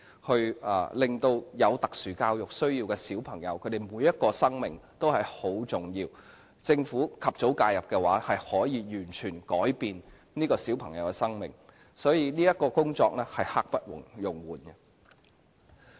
每一個有特殊教育需要的小朋友的生命都很重要，政府及早介入，便可以完全改變這些小朋友的生命，所以這項工作是刻不容緩的。